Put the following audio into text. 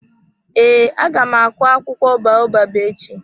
Ee, aga m akụ akwụkwọ baobab echi.